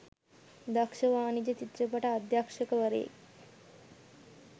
දක්ෂ වාණිජ චිත්‍රපට අධ්‍යක්ෂවරයෙක්.